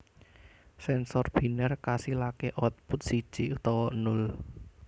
Sènsor binèr kasilaké output siji utawa nol